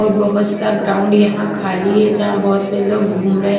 और बहोत सा ग्राउंड यहाँ खाली है जहाँ बहोत से लोग घूम रहे--